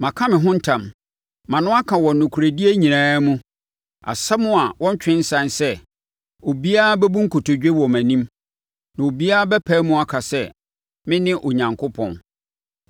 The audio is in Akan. Maka me ho ntam, mʼano aka wɔ nokorɛdie nyinaa mu, asɛm a wɔntwe nsane sɛ: obiara bɛbu nkotodwe wɔ mʼanim. Na obiara bɛpae mu aka sɛ, mene Onyankopɔn.